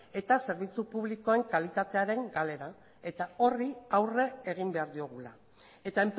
eta zerbitzu publikoen kalitatearen galera eta horri aurre egin behar diogula eta